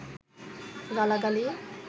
গালা গালি